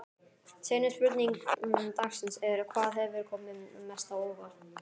Seinni spurning dagsins er: Hvað hefur komið mest á óvart?